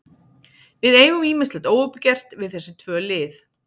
Við eigum ýmislegt óuppgert við þessi tvö lið.